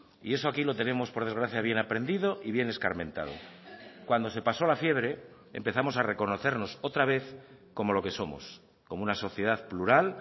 y eso aquí lo tenemos por desgracia bien aprendido y bien escarmentado cuando se pasó la fiebre empezamos a reconocernos otra vez como lo que somos como una sociedad plural